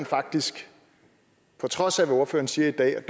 faktisk på trods af hvad ordføreren siger i dag